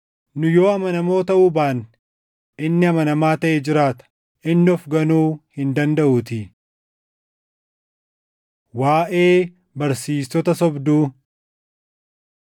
Nu yoo amanamoo taʼuu baanne, inni amanamaa taʼee jiraata; inni of ganuu hin dandaʼuutii. Waaʼee Barsiistota Sobduu